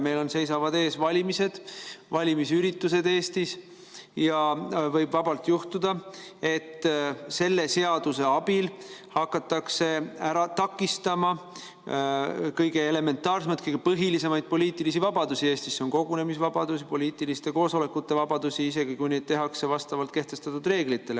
Meil seisavad ees valimised, valimisüritused Eestis ja võib vabalt juhtuda, et selle seaduse abil hakatakse takistama kõige elementaarsemaid, kõige põhilisemaid poliitilisi vabadusi Eestis – need on kogunemisvabadus ja poliitiliste koosolekute vabadus –, isegi kui neid kasutatakse vastavalt kehtestatud reeglitele.